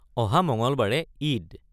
অহা মঙলবাৰে ঈদ।